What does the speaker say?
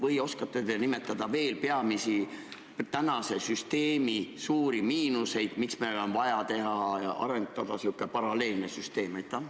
Või oskate te nimetada veel tänase süsteemi suuri miinuseid, miks meil on vaja teha ja arendada sihukest paralleelset süsteemi?